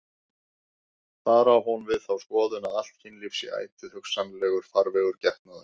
Þar á hún við þá skoðun að allt kynlíf sé ætíð hugsanlegur farvegur getnaðar.